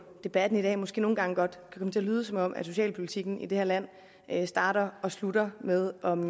debatten i dag måske nogle gange godt kan komme til at lyde som om socialpolitikken i det her land starter og slutter med om